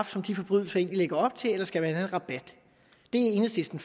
som de forbrydelser egentlig lægger op til eller skal man have en rabat enhedslisten